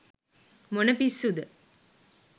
මොන පිස්සුද !